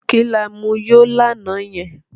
kí là mú yo lànà yen?